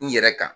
N yɛrɛ kan